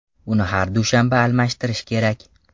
Uni har dushanba almashtirish kerak.